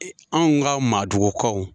Anw ka maadugukaw.